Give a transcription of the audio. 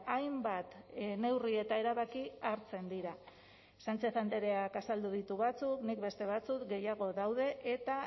hainbat neurri eta erabaki hartzen dira sánchez andreak azaldu ditu batzuk nik beste batzuk gehiago daude eta